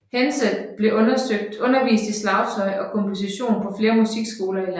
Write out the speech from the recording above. Hendze har undervist i slagtøj og komposition på flere musikskoler i landet